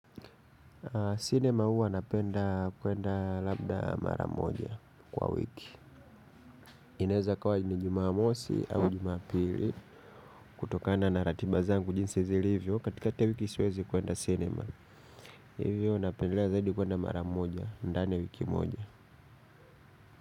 Sinema huwa napenda kuenda labda mara moja kwa wiki. Inaeza ikawa ni jumamosi au jumaapili. Kutokana na ratiba zangu jinsi zilivyo katikati ya wiki siwezi kuenda sinema. Hivyo napendelea zaidi kuenda mara moja ndani ya wiki moja.